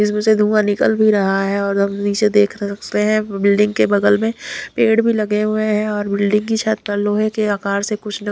इसमें से धुंआ निकल भी रहा है और हम नीचे देख रह सकते हैं बिल्डिंग के बगल में पेड़ भी लगे हुए हैं और बिल्डिंग की छत लोहै के आकार से कुछ न--